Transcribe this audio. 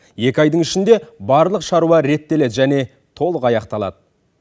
екі айдың ішінде барлық шаруа реттеледі және толық аяқталады